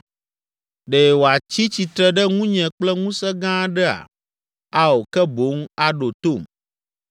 Ɖe wòatsi tsitre ɖe ŋunye kple ŋusẽ gã aɖea? Ao, ke boŋ aɖo tom